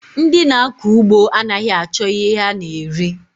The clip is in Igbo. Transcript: Ndị na-akọ ụgbọ anaghị achọ ihe ha na-eri